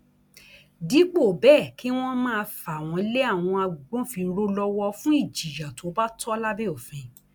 dípò bẹẹ kí wọn máa fà wọn lé àwọn agbófinró lọwọ fún ìjìyà tó bá tọ lábẹ òfin